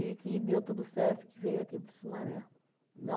que deu tudo certo, que veio aqui para o Sumaré. Não